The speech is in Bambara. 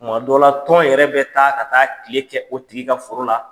Tumadɔ la tɔn yɛrɛ bɛ taa ka taa tile kɛ o tigi ka foro la.